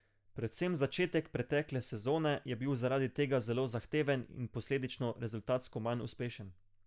Predvsem začetek pretekle sezone je bil zaradi tega zelo zahteven in posledično rezultatsko manj uspešen.